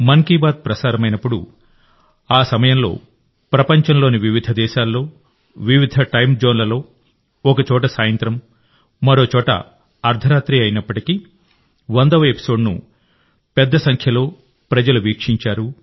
మన్ కీ బాత్ ప్రసారమైనప్పుడుఆ సమయంలో ప్రపంచంలోని వివిధ దేశాల్లో వివిధ టైమ్ జోన్లలో ఒకచోట సాయంత్రం మరోచోట అర్థరాత్రి అయినప్పటికీ 100వ ఎపిసోడ్ను పెద్ద సంఖ్యలో ప్రజలు వీక్షించారు